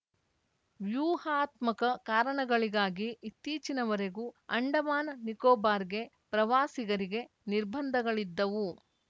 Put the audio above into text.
ವ್ಯೂಹಾತ್ಮಕ ಕಾರಣಗಳಿಗಾಗಿ ಇತ್ತೀಚಿನವರೆಗೂ ಅಂಡಮಾನ್‌ನಿಕೋಬಾರ್‌ಗೆ ಪ್ರವಾಸಿಗರಿಗೆ ನಿರ್ಬಂಧಗಳಿದ್ದವು